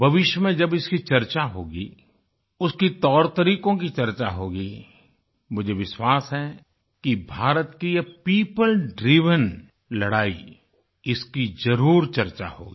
भविष्य में जब इसकी चर्चा होगी उसके तौरतरीकों की चर्चा होगी मुझे विश्वास है कि भारत की यह पियोपल ड्राइवेन लड़ाई इसकी ज़रुर चर्चा होगी